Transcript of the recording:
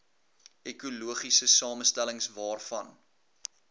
ekologiese samestellings waarvan